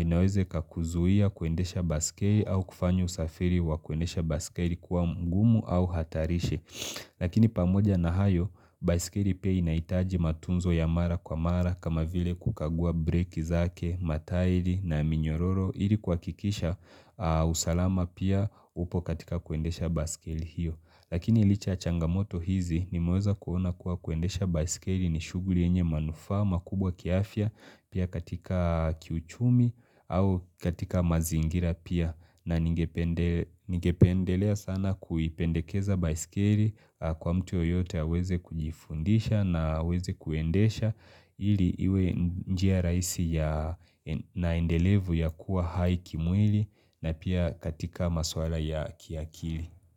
inaweza ikakuzuia kuendesha baiskeli au kufanya usafiri wa kuendesha baiskeli kuwa mgumu au hatarishi. Lakini pamoja na hayo, baiskeli pia inahitaji matunzo ya mara kwa mara kama vile kukagua breki zake, matairi na minyororo ili kwa kuhakikisha usalama pia upo katika kuendesha baskeli hiyo. Lakini licha ya changamoto hizi nimeweza kuona kuwa kuendesha baiskeli ni shughuli yenye manufaa kubwa kiafya pia katika kiuchumi au katika mazingira pia na ningependelea sana kuipendekeza baiskeli kwa mtu yeyote aweze kujifundisha na aweze kuendesha ili iwe njia rahisi ya na endelevu ya kuwa hai kimwili na pia katika maswala ya kiakili.